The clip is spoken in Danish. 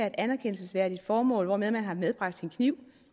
et anerkendelsesværdigt formål hvortil man har medbragt sin kniv